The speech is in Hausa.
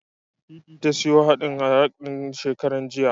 Titi ta siyo man haɗin salak ɗin, shekaran jiya.